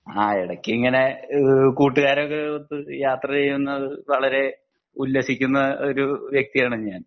അഹ് എടക്ക് ഇങ്ങനെ ഈഹ് കൂട്ടുകാരൊക്കെ ഒത്ത് യാത്ര ചെയ്യുന്നത് വളരേ ഉല്ലസിക്കുന്ന ഒരു വ്യക്തി ആണ് ഞാൻ